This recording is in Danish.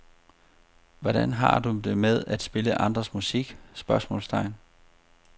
Hvordan har du det med at spille andres musik? spørgsmålstegn